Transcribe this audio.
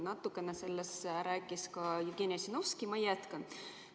Natukene sellest rääkis Jevgeni Ossinovski, ma jätkan.